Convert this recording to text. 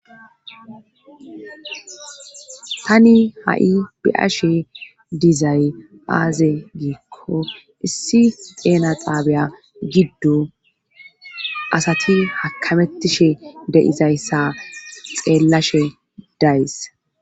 tani ha'i bi'ashe dizay aaze giikko issi xeena xaabiya giddo asati hakamettishe deizayssa xeellashe days.